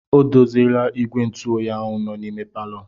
O doziela igwe ntụ oyi nọ n'ime palọ.